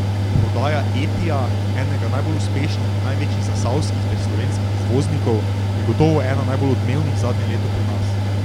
Prodaja Etija, enega najbolj uspešnih in največjih zasavskih ter slovenskih izvoznikov, je gotovo ena najbolj odmevnih zadnje leto pri nas.